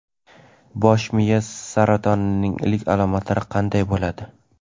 Bosh miya saratonining ilk alomatlari qanday bo‘ladi?.